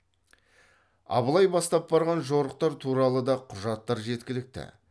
абылай бастап барған жорықтар туралы да құжаттар жеткілікті